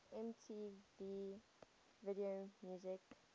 mtv video music